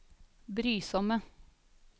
brysomme